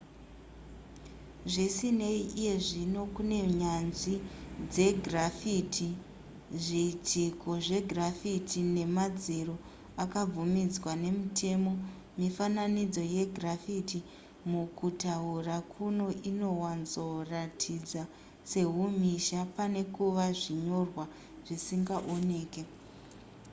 zvisinei iyezvino kune nyanzvi dzegraffiti zviitiko zvegraffiti nemadziro akabvumidzwa nemutemo mifananidzo yegraffiti mukutaura kuno inowanzoratidza sehumhizha pane kuva zvinyorwa zvisingaoneke